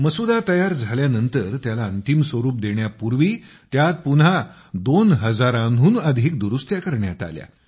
मसुदा तयार झाल्यानंतर त्याला अंतिम स्वरूप देण्यापूर्वी त्यात पुन्हा २ हजारांहून अधिक दुरुस्त्या करण्यात आल्या